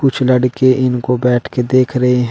कुछ लड़के इनको बैठ के देख रहे है।